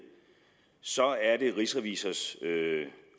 så er det rigsrevisors